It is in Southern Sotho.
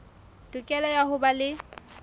tokelo ya ho ba le